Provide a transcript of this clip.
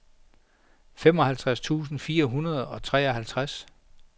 femoghalvtreds tusind fire hundrede og treoghalvtreds